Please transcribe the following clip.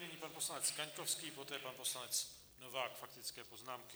Nyní pan poslanec Kaňkovský, poté pan poslanec Novák, faktické poznámky.